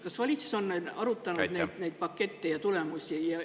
Kas valitsus on arutanud neid pakette ja tulemusi?